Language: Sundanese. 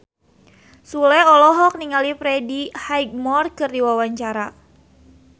Sule olohok ningali Freddie Highmore keur diwawancara